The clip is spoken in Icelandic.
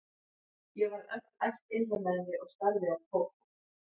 Ég varð öll æst innra með mér og starði á Kókó.